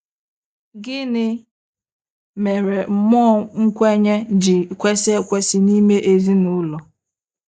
Gịnị mere mmụọ nkwenye ji kwesị ekwesị n'ime ezinụlọ?